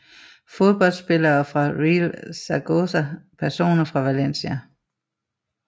Fodboldspillere fra Real Zaragoza Personer fra Valencia